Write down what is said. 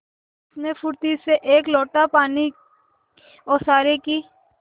उसने फुर्ती से एक लोटा पानी ओसारे की